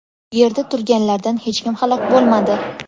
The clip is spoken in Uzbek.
Yerda turganlardan hech kim halok bo‘lmadi.